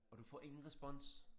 Og du får ingen respons